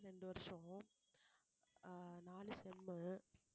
இரண்டு வருஷம் ஆஹ் நாலு sem உ